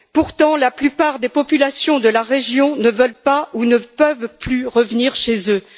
Pourtant, la plupart des populations de la région ne veulent pas ou ne peuvent plus revenir chez elles.